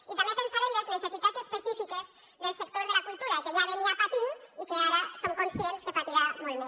i també pensar en les necessitats específiques del sector de la cultura que ja patia i que ara som conscients que patirà molt més